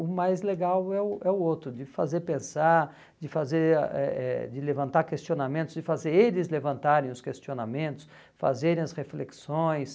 O mais legal é o é o outro, de fazer pensar, de fazer ah eh eh de levantar questionamentos, de fazer eles levantarem os questionamentos, fazerem as reflexões...